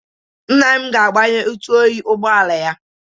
Nna m ga-agbanye ntụ oyi ụgbọala ya.